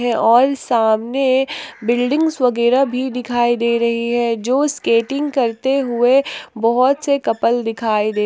और सामने बिल्डिंग्स वगैरह भी दिखाई दे रही है जो स्केटिंग करते हुए बहुत से कपल दिखाई दे --